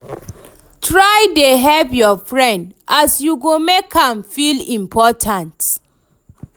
try dey hype yur friend as you go mek am feel important